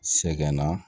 Sɛgɛnna